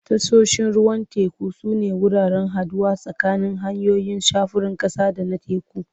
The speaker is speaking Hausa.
Tashoshin ruwan teku sune wuraren haɗuwa tsakanin hanyoyin sufurin ƙasa da na teku.